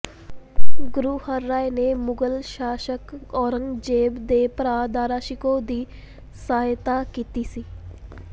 ਗੁਰੁ ਹਰਿ ਰਾਇ ਨੇ ਮੁਗਲ ਸ਼ਾਸਕ ਔਰੰਗਜ਼ੇਬ ਦੇ ਭਰਾ ਦਾਰਾ ਸ਼ਿਕੋਹ ਦੀ ਸਹਾਇਤਾ ਕੀਤੀ ਸੀ